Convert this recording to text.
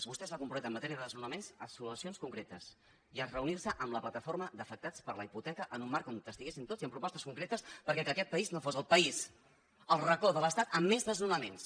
vostè es va comprometre en matèria de desnonaments a solucions concretes i a reunir se amb la plataforma d’afectats per la hipoteca en un marc on hi estiguéssim tots i amb propostes concretes perquè aquest país no fos el país el racó de l’estat amb més desnonaments